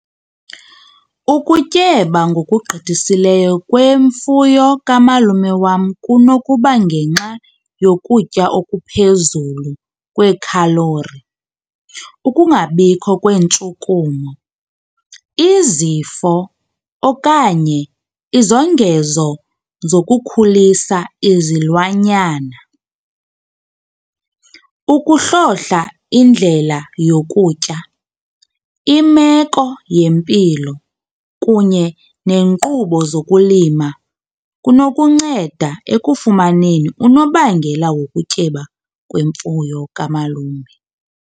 Ukutyeba ngokugqithisileyo kwemfuyo kamalume wam kunokuba ngenxa yokutya okuphezulu kwekhalori. Ukungabikho kweentshukumo, izifo okanye izongezo zokukhulisa izilwanyana. Ukuhlohla indlela yokutya, imeko yempilo kunye nenkqubo zokulima kunokunceda ekufumaneni unobangela wokutyeba kwemfuyo kamalume.